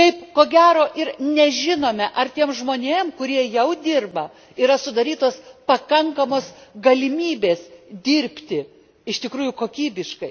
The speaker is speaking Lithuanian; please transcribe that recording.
Ko gero ir nežinome, ar tiem žmonėm, kurie jau dirba, yra sudarytos pakankamos galimybės dirbti iš tikrųjų kokybiškai.